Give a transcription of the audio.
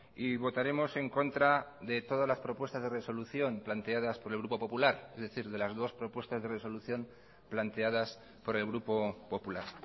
y votaremos en contra de todas las propuestas de resolución planteadas por el grupo popular es decir de las dos propuestas de resolución planteadas por el grupo popular